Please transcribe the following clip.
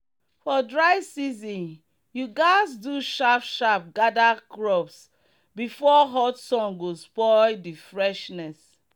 for dry season you gatz do sharp sharp gather crops before hot sun go spoil the freshness.